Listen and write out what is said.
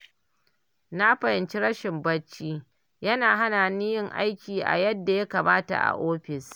Na fahimci rashin barci yana hana ni yin aiki a yadda ya kamata a ofis.